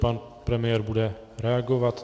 Pan premiér bude reagovat.